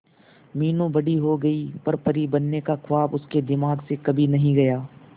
मीनू बड़ी हो गई पर परी बनने का ख्वाब उसके दिमाग से कभी नहीं गया